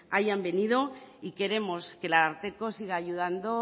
hayan venido y queremos que el ararteko siga ayudando